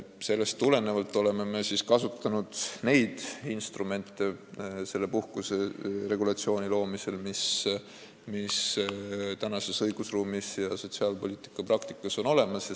Sellest tulenevalt oleme kasutanud selle puhkuseregulatsiooni loomisel seda instrumenti, mis tänases õigusruumis ja sotsiaalpoliitika praktikas on olemas.